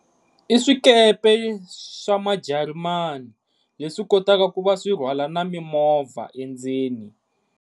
I swikepe swamajarimani leswi kotaka ku va swirhwala na mimovha endzeni.